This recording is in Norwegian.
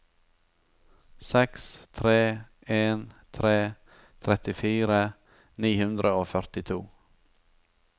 seks tre en tre trettifire ni hundre og førtito